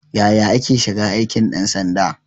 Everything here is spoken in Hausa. Yaya ake shiga aikin ɗan sanda?